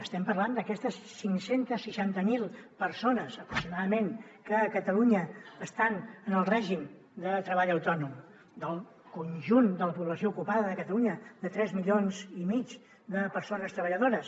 estem parlant d’aquestes cinc cents i seixanta miler persones aproximadament que a catalunya estan en el règim de treball autònom del conjunt de la població ocupada de catalunya de tres milions i mig de persones treballadores